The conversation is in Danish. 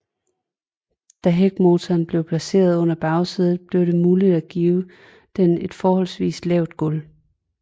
Da hækmotoren blev placeret under bagsædet blev det muligt at give den et forholdsvis lavt gulv